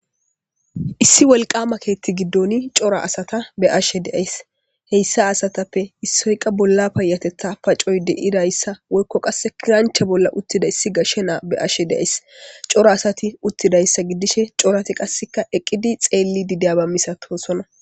Issi wolqama keetti giddoni cora asata be ashe deays heyssa asatappe issoyqa bolla payatetha pacoy de'idayssa woykko qasse kiranche bolla uttida issi gashshe naa be ashe deays cora asati uttidayssa giddishe corati qasseka eqqidi xeelli dideaba misatosonna.